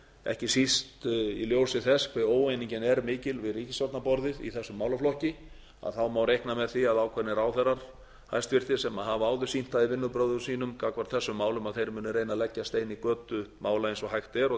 ekki síst í ljósi þess hve óeiningin er mikil við ríkisstjórnarborðið í þessum málaflokki þá már reikna með því að ákveðnir hæstvirtir ráðherrar sem hafa áður sýnt það í vinnubrögðum sínum gagnvart þessum málum að þeir munu reyna að leggja stein í götu mála eins og hægt er